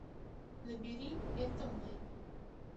набери это мы